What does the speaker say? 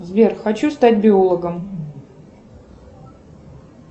сбер хочу стать биологом